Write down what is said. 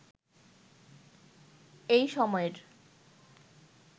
এই সময়ের